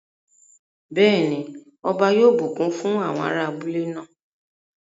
Bẹ́ẹ̀ ni, ọba yóò bùkún fún àwọn ará abúlé náà.